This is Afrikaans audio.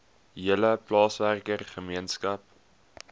hele plaaswerker gemeenskap